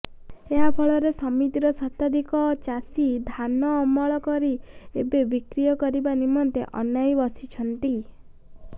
ଏହାଫଳରେ ସମିତିର ଶତାଧିକ ଚାଷି ଧାନ ଅମଳକରି ଏବେ ବିକ୍ରୟ କରିବା ନିମନ୍ତେ ଅନାଇ ବସିଛନ୍ତି